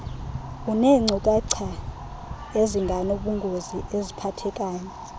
uneenkcukacha ezinganobungozi eziphathekayo